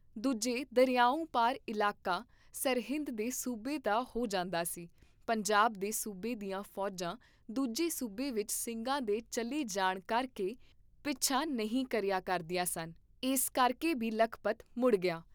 ਦੂਜੇ ਦਰਿਆਓਂ ਪਾਰ ਇਲਾਕਾ ਸਰਹਿੰਦ ਦੇ ਸੂਬੇ ਦਾ ਹੋ ਜਾਂਦਾ ਸੀ, ਪੰਜਾਬ ਦੇ ਸੂਬੇ ਦੀਆਂ ਫੌਜਾਂ ਦੂਜੇ ਸੂਬੇ ਵਿਚ ਸਿੰਘਾਂ ਦੇ ਚੱਲੇ ਜਾਣ ਕਰ ਕੇ ਪਿੱਛਾ ਨਹੀਂ ਕਰਿਆ ਕਰਦੀਆਂ ਸਨ, ਇਸ ਕਰਕੇ ਬੀ ਲਖਪਤ ਮੁੜ ਗਿਆ।